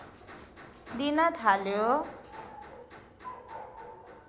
दिन थाल्यो